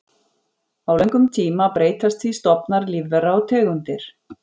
Á löngum tíma breytast því stofnar lífvera og tegundir.